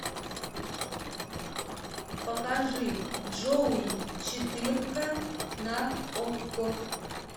покажи джоуи четырка на окко